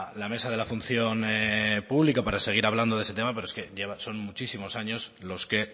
la mesa de la función pública para seguir hablando de ese tema pero es que lleva son muchísimos años los que